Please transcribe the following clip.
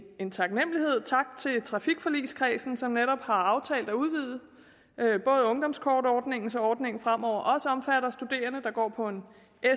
en taknemmelighed tak til trafikforligskredsen som netop har aftalt at udvide ungdomskortordningen så ordningen fremover også omfatter studerende der går på en